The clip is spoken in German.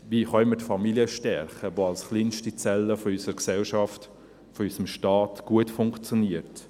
Wie können wir die Familie stärken, die als kleinste Zelle unserer Gesellschaft, unseres Staates gut funktioniert?